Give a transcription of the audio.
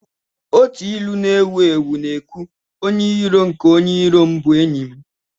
Otu ilu na-ewu ewu na-ekwu, "Onye iro nke onye iro m bụ enyi m